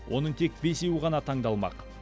оның тек бесеуі ғана таңдалмақ